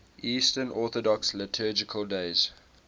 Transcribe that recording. eastern orthodox liturgical days